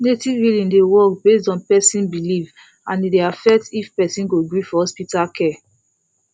native healing dey work based on person belief and e dey affect if person go gree for hospital care